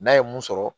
N'a ye mun sɔrɔ